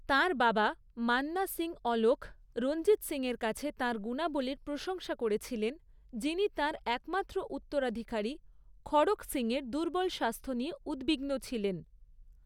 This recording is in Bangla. তাঁর বাবা, মান্না সিং অলখ, রঞ্জিত সিংয়ের কাছে তাঁর গুণাবলীর প্রশংসা করেছিলেন, যিনি তাঁর একমাত্র উত্তরাধিকারী খড়ক সিংয়ের দুর্বল স্বাস্থ্য নিয়ে উদ্বিগ্ন ছিলেন।